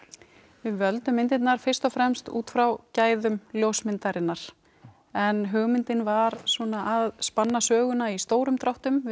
við völdum myndirnar fyrst og fremst út frá gæðum ljósmyndarinnar en hugmyndin var svona að spanna söguna í stórum dráttum við